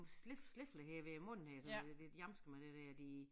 Slik slikker her ved æ mund her sådan der de lidt hjamske med det der de